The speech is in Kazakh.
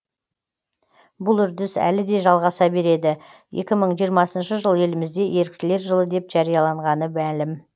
бұл үрдіс әлі де жалғаса береді екі мың жиырмасыншы жыл елімізде еріктілер жылы деп жарияланғаны мәлім